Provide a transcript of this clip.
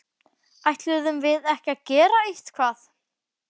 Ætluðum við ekki að gera eitthvað?!